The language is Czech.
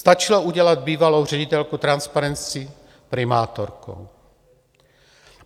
Stačilo udělat bývalou ředitelku Transparency primátorkou.